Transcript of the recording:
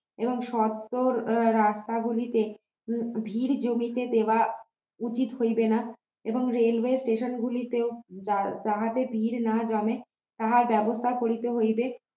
এবং সকল রাস্তা গুলিতে ভিড় জমিতে দেওয়া উচিত হইবে না এবং railway station গুলিতেও তাহাতে ভিড় না জমে তাহা ব্যবস্থা করিতে হইবে